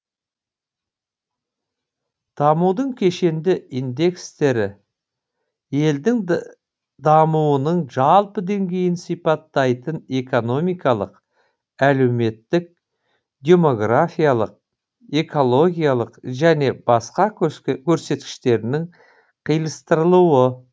дамудың кешенді индекстері елдің дамуының жалпы деңгейін сипаттайтын экономикалық әлеуметтік демографиялық экологиялық және басқа көрсеткіштерінің қиыстырылуы